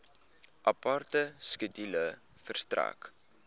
aparte skedule verstrek